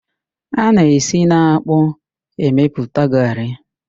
A na-esi n'ákpụ́ emepụta garrị.